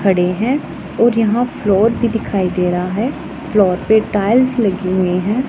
खड़े हैं और यहां फ्लोर भी दिखाई दे रहा है फ्लोर पे टाइल्स लगी हुई हैं।